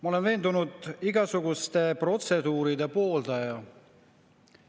Ma olen igasuguste protseduuride veendunud pooldaja.